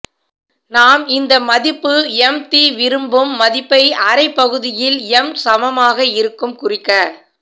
நாம் இந்த மதிப்பு எம் தி விரும்பும் மதிப்பைச் அரை பகுதியில் எம் சமமாக இருக்கும் குறிக்க